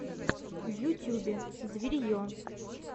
в ютюбе зверье